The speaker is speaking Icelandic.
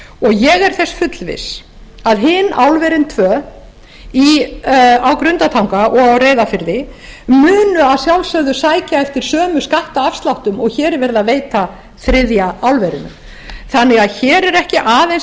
ég er þess fullviss að hin álverin tvö á grundartanga og á reyðarfirði munu að sjálfsögðu sækja eftir sömu skattafsláttum og hér er verið að veita þriðja álverinu þannig að hér er ekki aðeins